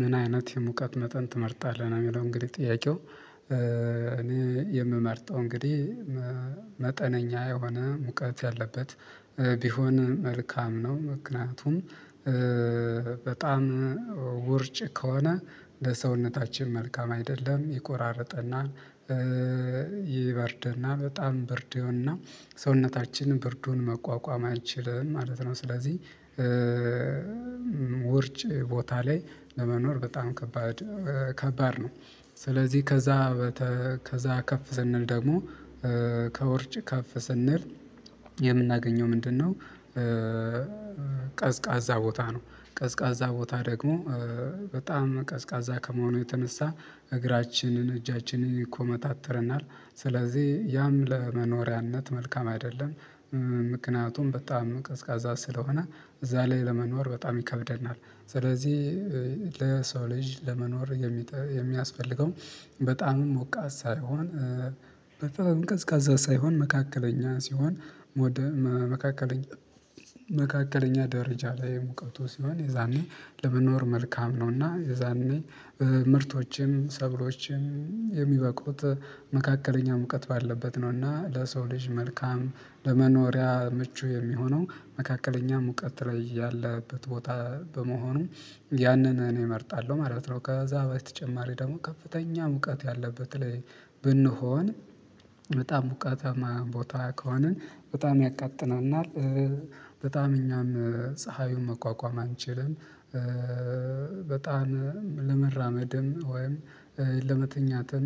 “ምን አይነት የሙቀት መጠን ትመርጣለህ?”ነው የሚለው እንግዲህ ጥያቄው። እኔ የምመርጠው እንግዲህ መጠነኛ የሆነ ሙቀት ያለበት ቢሆን መልካም ነው። ምክንያቱም በጣም ውርጭ ከሆነ ለሰውነታችን መልካም አይደለም። ይቆራርጠናል ይበርደናል በጣም ብርድ ይሆንና ሰውነታችን ብርዱን መቋቋም አይችልም ማለት ነው። ስለዚህ ውርጭ ቦታ ላይ ለመኖር በጣም ከባድ ከባድ ነው። ስለዚህ ከዛ በተ ከዛ ከፍ ስንል ደግሞ ከውርጭ ከፍ ስንል የምናገኘው ምንድን ነው? ቀዝቃዛ ቦታ ነው። ቀዝቃዛ ቦታ ደግሞ በጣም ቀዝቃዛ ከመሆኑ የተነሳ እግራችንን እጃችንን ይኮመታትረናል። ስለዚህ ያንም ለመኖሪያነት መልካም አይደለም። ምክንያቱም በጣም ቀዝቃዛ ስለሆነ እዛ ላይ ለመኖር በጣም ይከብደናል። ስለዚህ ለሰው ልጅ ለመኖር የሚጠ የሚያስፈልገው በጣም ሞቃት ሳይሆን በጣም ቀዝቃዛ ሳይሆን መካከለኛ ሲሆን ሞደ መካከለኛ መካከለኛ ደረጃ ላይ ሙቀቱ ሲሆን የዛኔ ለመኖር መልካም ነውና የዛኔ ምርቶችም ሰብሎችም የሚበቁት መካከለኛ ሙቀት ባለበት ነውና ለሰው ልጅ መልካም ለመኖሪያ ምቹ የሚሆነው መካከለኛ ሙቀት ላይ ያለበት ቦታ በመሆኑ ያንን እኔ እመርጣለሁ ማለት ነው። ከዛ በተጨማሪ ደግሞ ከፍተኛ ሙቀት ያለበት ላይ ብንሆን በጣም ሙቀታማ ቦታ ከሆነ በጣም ያቃጥለናል በጣም እኛም ፀሃዩን መቋቋም አንችልም። በጣም ለመራመድም ወይም ለመተኛትም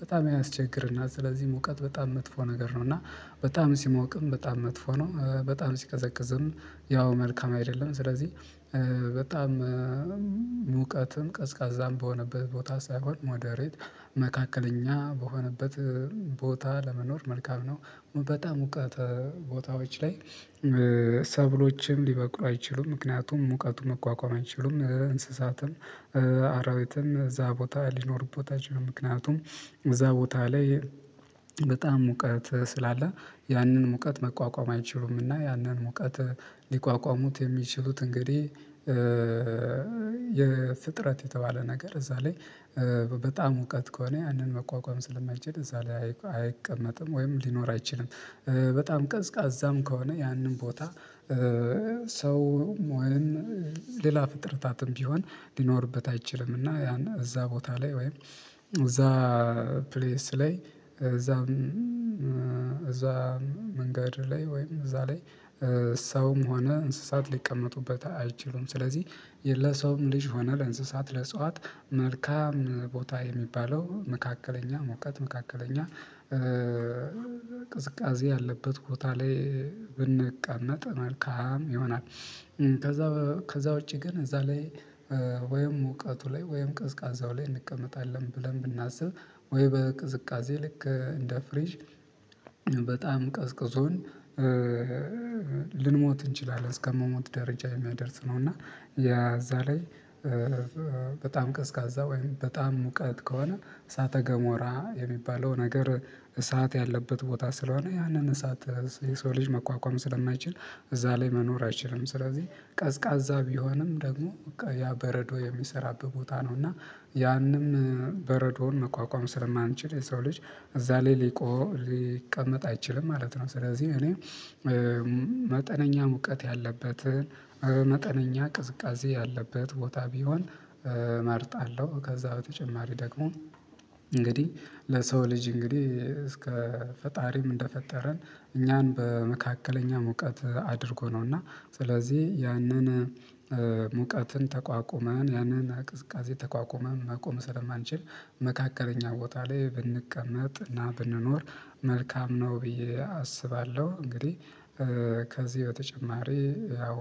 በጣም ያስቸግረና። ስለዚህ ሙቀት በጣም መጥፎ ነገር ነውና በጣም ሲሞቅም በጣም መጥፎ ነው። በጣም ሲቀዘቅዝም ያው መልካም አይደለም። ስለዚህ በጣም ሙቀትም ቀዝቃዛም በሆነበት ቦታ ሳይሆን ሞደሬት መካከለኛ በሆነበት ቦታ ለመኖር መልካም ነው። በጣም ሙቀት ቦታዎች ላይ ሰብሎችም ሊበቁ አይችሉም። ምክንያቱም ሙቀቱን መቋቋም አይችሉም። እንስሳትን አራዊትም እዛ ቦታ ሊኖሩበት አይችሉም። ምክንያቱም እዛ ቦታ ላይ በጣም ሙቀት ስላለ ያንን ሙቀት መቋቋም አይችሉምና ያንን ሙቀት ሊቋቋሙት የሚችሉት እንግዲህ የፍጥረት የተባለ ነገር እዛ ላይ በጣም ሙቀት ከሆነ ያንን መቋቋም ስለማይችል እዛ ላይ አይቀመጥም ወይም ሊኖር አይችልም። በጣም ቀዝቃዛም ከሆነ ያንን ቦታ ሰውም ወይም ሌላ ፍጥረታትም ቢሆን ሊኖርበት አይችልም። እና ያን እዛ ቦታ ላይ ወይም እዛ ፕሌስ ላይ እዛ እዛ መንገድ ላይ ወይም እዛ ላይ ሰውም ሆነ እንስሳት ሊቀመጡበት አይችሉም። ስለዚህ ለሰውም ልጅ ሆነ ለእንስሳት ለዕጽዋት መልካም ቦታ የሚባለው መካከለኛ ሙቀት መካከለኛ ቅዝቃዜ ያለበት ቦታ ላይ ብንቀመጥ መልካም ይሆናል። ከዛ ከዛ ውጭ ግን እዛ ላይ ወይም ሙቀቱ ላይ ወይም ቀዝቃዛው ላይ እንቀመጣለን ብለን ብናስብ ወይም በቅዝቃዜ ልክ እንደ ፍሪጅ በጣም ቀዝቅዞን ልንሞት እንችላለን። አስከመሞት ደረጃ የሚያደርስ ነውና የእዛ ላይ በጣም ቀዝቃዛ ወይም በጣም ሙቀት ከሆነ እሳተገሞራ የሚባለው ነገር እሳት ያለበት ቦታ ስለሆነ ያንን እሳት የሰው ልጅ መቋቋም ስለማይችል እዛ ላይ መኖር አይችልም። ስለዚህ ቀዝቃዛ ቢሆንም ደግሞ ያ በረዶ የሚሰራበት ቦታ ነውና ያንም በረዶውን መቋቋም ስለማንችል የሰው ልጅ እዛ ላይ ሊቆ ሊቀመጥ አይችልም ማለት ነው። ስለዚህ እኔ መጠነኛ ሙቀት ያለበት መጠነኛ ቅዝቃዜ ያለበት ቦታ ቢሆን መርጣለሁ። ከዛ በተጨማሪ ደግሞ እንግዲህ ለሰው ልጅ እንግዲህ ከፈጣሪም እንደፈጠረን እኛን በመካከለኛ ሙቀት አድርጎ ነውና ስለዚህ ያንን ሙቀትን ተቋቁመን ያንን ቅዝቃዜ ተቋቁመን መቆም ስለማንችል መካከለኛ ቦታ ላይ ብንቀመጥና ብንኖር መልካም ነው ብዬ አስባለሁ። እንግዲህ ከዚህ በተጨማሪ ያው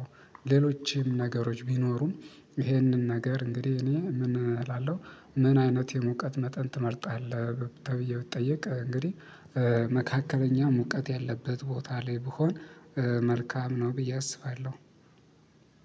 ሌሎችም ነገሮች ቢኖሩም ይህንን ነገር እንግዲህ እኔ ምን እላለሁ? ምን አይነት የሙቀት መጠን ትመርጣለህ? ተብዬ ብጠየቅ እንግዲህ መካከለኛ ሙቀት ያለበት ቦታ ላይ ብሆን መልካም ነው ብዬ አስባለሁ።